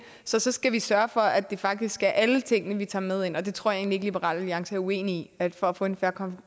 så så skal vi sørge for at det faktisk er alle tingene vi tager med ind og det tror jeg egentlig ikke liberal alliance er uenig i at for at få en fair